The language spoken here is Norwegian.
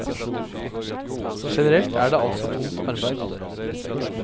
Generelt er det altså tungt arbeide.